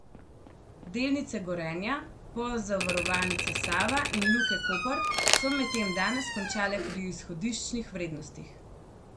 Delnice Gorenja, Pozavarovalnice Save in Luke Koper so medtem danes končale pri izhodiščnih vrednostih.